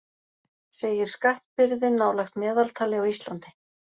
Segir skattbyrði nálægt meðaltali á Íslandi